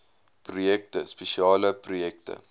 projekte spesiale projekte